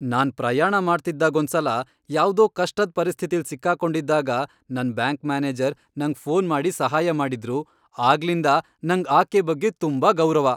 ನಾನ್ ಪ್ರಯಾಣ ಮಾಡ್ತಿದ್ದಾಗೊಂದ್ಸಲ ಯಾವ್ದೋ ಕಷ್ಟದ್ ಪರಿಸ್ಥಿತಿಲ್ ಸಿಕ್ಕಾಕೊಂಡಿದ್ದಾಗ ನನ್ ಬ್ಯಾಂಕ್ ಮ್ಯಾನೇಜರ್ ನಂಗ್ ಫೋನ್ ಮಾಡಿ ಸಹಾಯ ಮಾಡಿದ್ರು, ಆಗ್ಲಿಂದ ನಂಗ್ ಆಕೆ ಬಗ್ಗೆ ತುಂಬಾ ಗೌರವ.